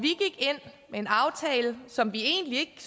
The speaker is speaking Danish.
en aftale som vi egentlig